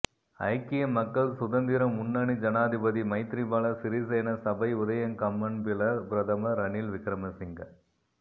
ஐக்கிய மக்கள் சுதந்திர முன்னணி ஜனாதிபதி மைத்திரிபால சிறிசேன சபை உதயகம்மன்பில பிரதமர் ரணில் விக்கிரமசிங்க